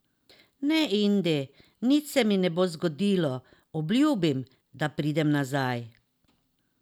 Ne, Indi, nič se mi ne bo zgodilo, obljubim, da pridem nazaj.